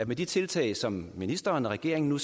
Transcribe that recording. med de tiltag som ministeren og regeringen nu